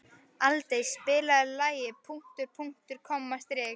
Aldey, spilaðu lagið „Punktur, punktur, komma, strik“.